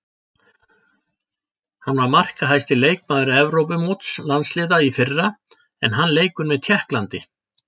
Hann var markahæsti leikmaður Evrópumóts landsliða í fyrra en hann leikur með Tékklandi.